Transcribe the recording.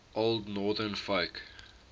old northern folk